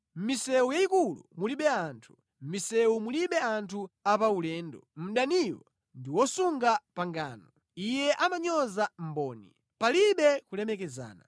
Mʼmisewu yayikulu mulibe anthu, mʼmisewu mulibe anthu a paulendo. Mdaniyo ndi wosasunga pangano. Iye amanyoza mboni. Palibe kulemekezana.